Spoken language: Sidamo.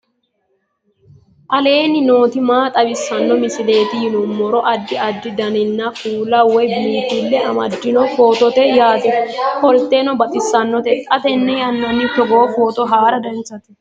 aleenni nooti maa xawisanno misileeti yinummoro addi addi dananna kuula woy biinfille amaddino footooti yaate qoltenno baxissannote xa tenne yannanni togoo footo haara danchate